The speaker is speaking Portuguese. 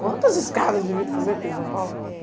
Quantas escadas de vidro fumê tem em São Paulo?